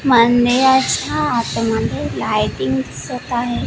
मंदिराच्या आत मध्ये लायटिंग दिसत आहे.